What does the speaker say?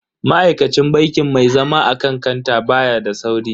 Ma'aikacin bankin mai zama akan kanta baya da sauri.